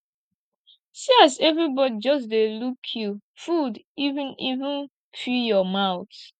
see as everybody just dey look you food even even fill your mouth